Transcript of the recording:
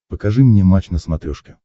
покажи мне матч на смотрешке